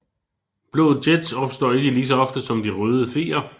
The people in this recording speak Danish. Blå jets opstår ikke ligeså ofte som de røde feer